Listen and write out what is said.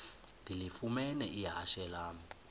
ndilifumene ihashe lam